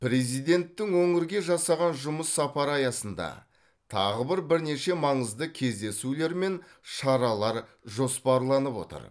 президенттің өңірге жасаған жұмыс сапары аясында тағы бір бірнеше маңызды кездесулер мен шаралар жоспарланып отыр